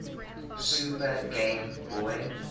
super game boy